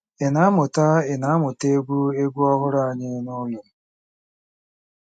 Ị na-amụta Ị na-amụta egwu egwu ọhụrụ anyị n'ụlọ?